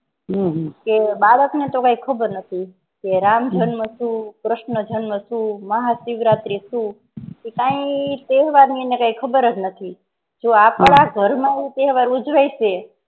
ઊહુ કે બાળક નો તોહ ખબર નથી કે રામ જન્મ શું કે કૃષ્ણ જન્મ શું મહાશિવરાત્રી શું કાંઈ તહેવાર ની એને કાંઈ ખબર જ નથી તો આપણા ઘર માં એ તહેવાર ઉજવે શે